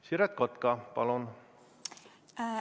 Siret Kotka, palun!